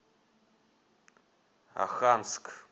оханск